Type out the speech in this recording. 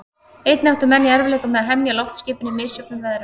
Einnig áttu menn í erfiðleikum með að hemja loftskipin í misjöfnum veðrum.